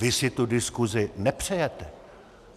Vy si tu diskuzi nepřejete.